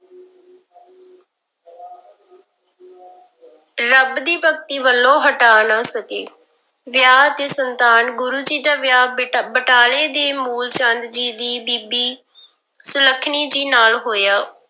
ਰੱਬ ਦੀ ਭਗਤੀ ਵੱਲੋਂ ਹਟਾ ਨਾ ਸਕੇ, ਵਿਆਹ ਤੇ ਸੰਤਾਨ, ਗੁਰੂ ਜੀ ਦਾ ਵਿਆਹ ਬਟ ਬਟਾਲੇ ਦੇ ਮੂਲ ਚੰਦ ਜੀ ਦੀ ਬੀਬੀ ਸੁਲੱਖਣੀ ਜੀ ਨਾਲ ਹੋਇਆ।